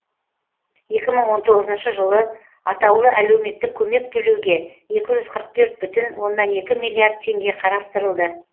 екі мың он тоғызыншы жылы атаулы әлеуметтік көмек төлеуге екі жүз қырық төрт бүтін оннан екі миллиард теңге қарастырылды